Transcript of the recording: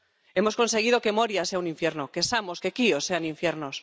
Hemos conseguido que Moria sea un infierno, que Samos, que Kios sean infiernos.